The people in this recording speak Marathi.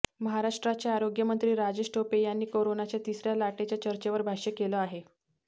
महाराष्ट्राचे आरोग्यमंत्री राजेश टोपे यांनी कोरोनाच्या तिसऱ्या लाटेच्या चर्चेवर भाष्य केलं आहे